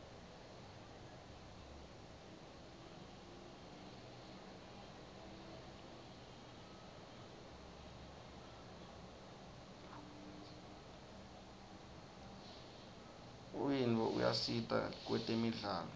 unyiotfo uyasita kwetemidlalo